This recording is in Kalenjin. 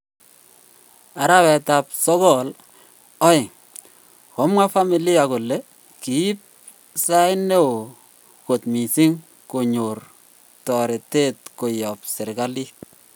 Arawet ap sogol 2: komwa familia kole kiip sait neo kot missing konyor torete koyop serkalit